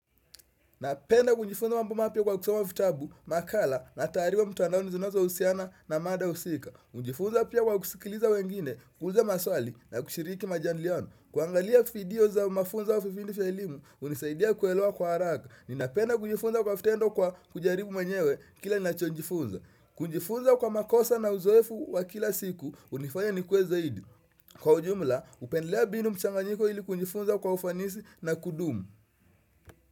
Napenda kujifunza mambo mapya kwa kusoma vitabu, makala na tariwa mtandaoni zinazo husiana na mada husika. Ujifunza pia kwa kusikiliza wengine, kuuuliza maswali na kushiriki majandiliano. Kuangalia kuvidio za mafunzo wa vipindi vya elimu, unisaidia kuelewa kwa haraka. Ninapenda kujifunza kwa vitendo kwa kujaribu mwenyewe kila ni nacho jifunza. Kujifunza kwa makosa na uzoefu wa kila siku, unifanya ni kue zaidi. Kwa ujumla, upendelea mbinu mchanganyiko ili kujifunza kwa ufanisi na kudumu.